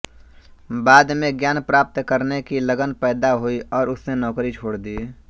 बाद में ज्ञान प्राप्त करने की लगन पैदा हुई और उसने नौकरी छोड़ दी